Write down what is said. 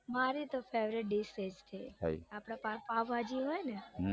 મારે તો favourite dish એજ છે આપડે પાવભાજી હોય ને